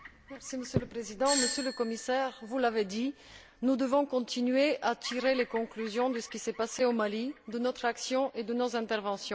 Monsieur le Président, Monsieur le Commissaire, comme vous l'avez dit, nous devons continuer à tirer les conclusions de ce qui s'est passé au Mali, de notre action et de nos interventions.